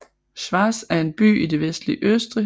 Schwaz er en by i det vestlige Østrig